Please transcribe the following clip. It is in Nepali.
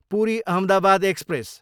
पुरी, अहमदाबाद एक्सप्रेस